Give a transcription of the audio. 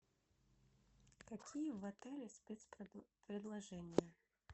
какие в отеле спецпредложения